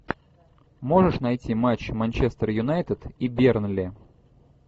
можешь найти матч манчестер юнайтед и бернли